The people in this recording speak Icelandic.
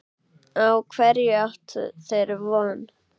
Á hverju áttu þeir von?